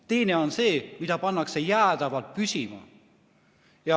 Teine on see, mida pannakse jäädavalt püsima.